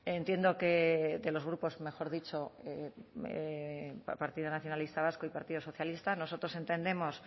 entiendo que de los grupos mejor dicho partido nacionalista vasco y partido socialista nosotros entendemos